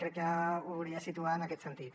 crec que ho hauria de situar en aquest sentit